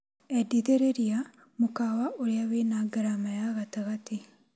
Endithĩrĩria mũkawa ũrĩa wĩna ngarama ya gatagate .